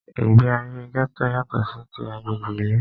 Ìgbé ayé gẹ́tò yátọ̀ sí tí agbègbè ìlú.